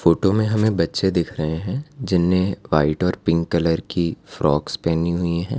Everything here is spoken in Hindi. फोटो में हमें बच्चे दिख रहे हैं जिन्हें वाइट और पिंक कलर की फ्रॉक्स पहनी हुई हैं।